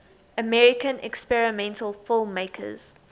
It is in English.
american experimental filmmakers